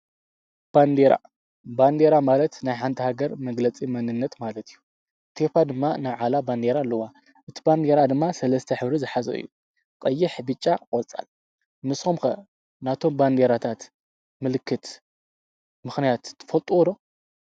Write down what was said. ባንዴራ፡-ባንዴራ ማለት ናይ ሓንቲ ሃገር መግለፂ መንነት ማለት እዩ፡፡ ኢትዮጵያ ድማ ናይ ባዕላ ባንዲራ ኣለዋ፡፡ እቲ ባንዲራ ድማ ሠለስተ ሕብሪ ዝሓዘ እዩ፡፡ ቐይሕ፣ ብጫ፣ ቆፅል፡፡ ንስኹም ከ ናቶም ባንዴራታት ምልክት ምኽንያት ትፈልጥዎ ዶ?